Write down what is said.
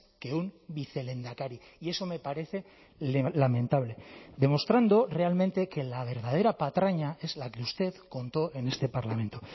que un vicelehendakari y eso me parece lamentable demostrando realmente que la verdadera patraña es la que usted contó en este parlamento